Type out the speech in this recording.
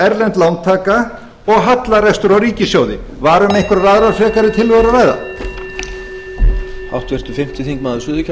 erlend lántaka og hallarekstur á ríkissjóði var um einhverjar aðrar frekari tillögur að ræða